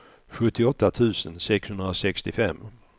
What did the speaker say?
sjuttioåtta tusen sexhundrasextiofem